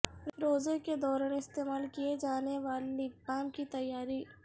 روزہ کے دوران استعمال کئے جانے والے لپ بام کی تیاری